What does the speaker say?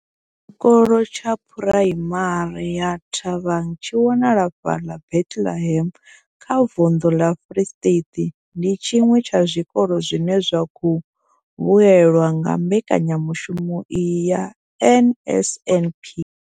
Tshikolo tsha phuraimari ya Thabang tshi wanala fhaḽa Bethlehem kha vunḓu ḽa Free State, ndi tshiṅwe tsha zwikolo zwine zwa khou vhuelwa nga mbekanyamushumo iyi ya NSNP.